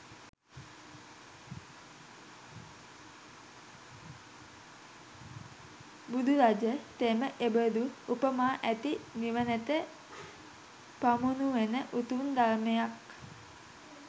බුදුරජ තෙම එබඳු උපමා ඇති නිවනට පමුණුවන උතුම් ධර්මයක්